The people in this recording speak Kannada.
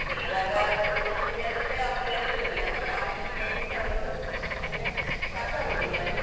ಅದೆ ಈವಾಗ tuitions ಇಲ್ಲದಿದ್ರೆ ಅವರ್ ಕೇಳುದೂ ಇಲ್ಲ, ನಾವು ಹೇಳಿದ್ದು ಅವರಿಗೂ ಅಂದ್ರೆ, ಸಾಕಗುದಿಲ್ಲ ಅದು.